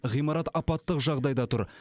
ғимарат апаттық жағдайда тұр